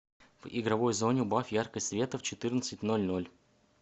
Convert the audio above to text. в игровой зоне убавь яркость света в четырнадцать ноль ноль